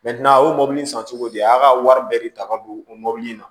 a y'o mɔbili san cogo di a y'a ka wari bɛɛ de ta ka don o mɔbili in na